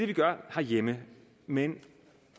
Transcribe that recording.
vi gør herhjemme men